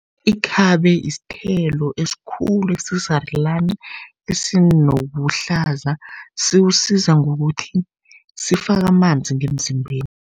Ikhabe sithelo esikhulu, esisarulani, esinobuhlaza siwusiza ngokuthi sifake amanzi ngemzimbeni.